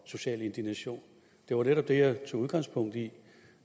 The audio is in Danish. social indignation det var netop det jeg tog udgangspunkt i